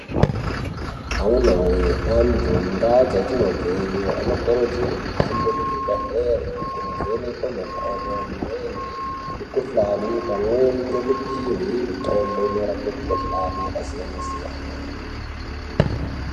Amunawee antu mundaa dzatinobveyo anokurudzirwe kuhambe kuzvibhedhleri kunovhenekwe makodo, mirenje, mikuhlani pamweni ngekupihwe mitombo inorape mikuhlani yakasiyana-siyana.